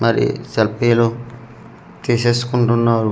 మరి సెల్ఫీ లో తీసేసుకుంటున్నారు.